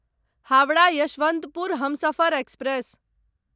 Howrah Yesvantpur Humsafar express